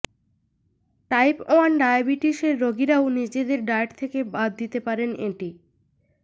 type one ডায়াবিটিসের রোগীরাও নিজেদের ডায়েট থেকে বাদ দিতে পারেন এটি